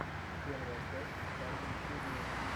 первая часть дарвин студио